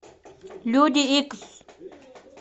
люди икс